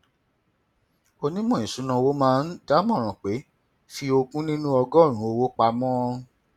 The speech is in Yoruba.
onímọ ìṣúnná owó máa ń dámọràn pé fi ogún nínú ọgọrùnún owó pamọ